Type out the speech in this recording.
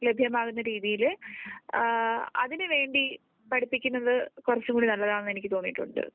ലഭ്യമാകുന്ന രീതിയിൽ അതിനുവേണ്ടി പഠിപ്പിക്കുന്നത് കുറച്ചുകൂടി നല്ലത് ആണ്